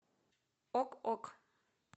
ок ок